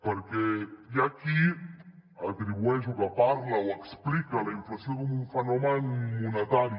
perquè hi ha qui atribueix o que parla o explica la inflació com un fenomen monetari